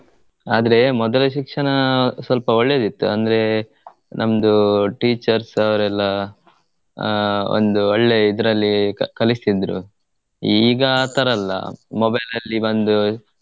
ಆದ್ರೇ ಮೊದಲ ಶಿಕ್ಷಣ ಸ್ವಲ್ಪ ಒಳ್ಳೇದಿತ್ತು ಅಂದ್ರೆ ನಮ್ದು teachers ಉ ಎಲ್ಲಾ ಆಹ್ ಒಂದು ಒಳ್ಳೇ ಇದ್ರಲ್ಲಿ ಕಲಿಸ್ತಿದ್ರು ಈಗ ಆಥರ ಅಲ್ಲ mobile ಅಲ್ಲಿ ಬಂದು.